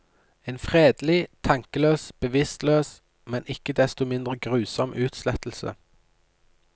En fredelig, tankeløs, bevisstløs, men ikke desto mindre grusom utslettelse.